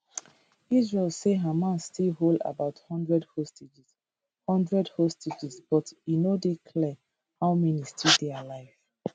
israel say hamas still hold about one hundred hostages one hundred hostages but e no dey clear how many still dey alive